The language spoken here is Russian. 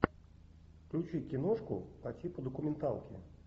включи киношку по типу документалки